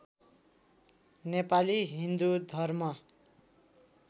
नेपाली हिन्दू धर्म